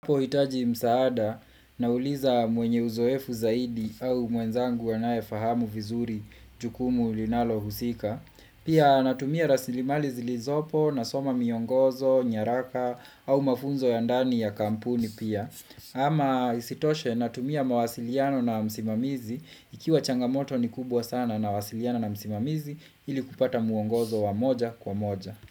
Ninapohitaji msaada nauliza mwenye uzoefu zaidi au mwenzangu anae fahamu vizuri jukumu linalohusika. Pia natumia rasilimali zilizopo nasoma miongozo, nyaraka au mafunzo ya ndani ya kampuni pia. Ama isitoshe natumia mawasiliano na msimamizi ikiwa changamoto ni kubwa sana nawasiliana na msimamizi ili kupata muongozo wa moja kwa moja.